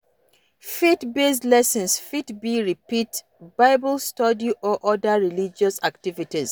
Faith based lessons fit be retreat, bible study or oda religious activities